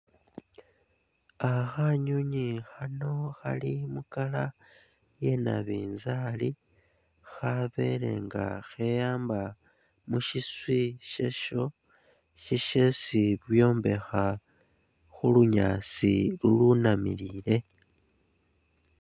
Ah khanywinywi khano Khali mu color iya na binzali khabele nga kheyamba mu shiswi shesho shishesi byombekha khu lunyaasi lulunamilile